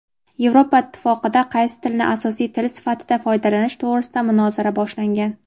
Yevropa Ittifoqida qaysi tilni asosiy tili sifatida foydalanish to‘g‘risida munozara boshlangan.